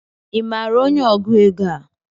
I maara onye ọgụ égo a?